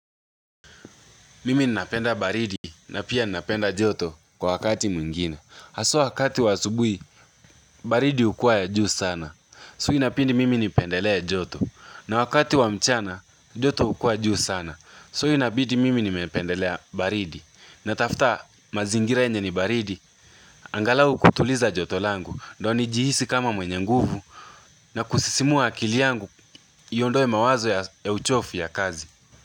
Mimi ninapenda baridi na pia ninapenda joto kwa wakati mwingine Haswa wakati wa asubui, baridi ukuwa ya juu sana So inapindi mimi nipendelea joto na wakati wa mchana, joto ukuwa juu sana So inapindi mimi nipendelea baridi na tafuta mazingira yenye ni baridi angalau kutuliza joto langu ndo nijihisi kama mwenye nguvu na kusisimua akiliangu iondoe mawazo ya uchofu ya kazi.